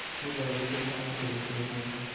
की लहरों के साथ खेलते हैं